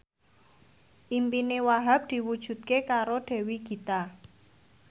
impine Wahhab diwujudke karo Dewi Gita